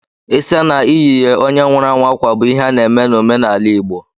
Ịsa na iyi ye onye nwụrụ anwụ akwa bụ ihe a na-eme n'omenala igbo.